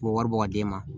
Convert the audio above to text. U bɛ wari bɔ ka d'i ma